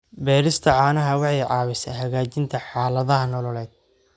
Beerista caanaha waxay caawisaa hagaajinta xaaladaha nololeed.